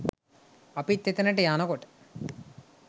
අපිත් එතනට යනකොට